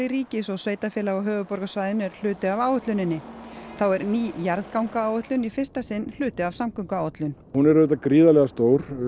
ríkis og sveitarfélaga á höfuðborgarsvæðinu er hluti af áætluninni þá er ný jarðgangaáætlun í fyrsta sinn hluti af samgönguáætlun hún er auðvitað gríðarlega stór